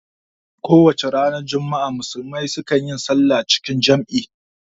Kowacce ranar juma'a musulmai su kan yi salla cikin jam'i